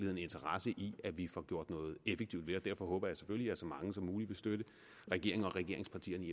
har interesse i at vi får gjort noget effektivt ved det derfor håber jeg selvfølgelig at så mange som muligt vil støtte regeringen og regeringspartierne i